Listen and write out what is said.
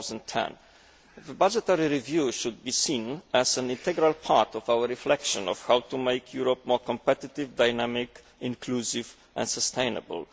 2010. The budgetary review should be seen as an integral part of our reflection on how to make Europe more competitive, dynamic, inclusive and sustainable.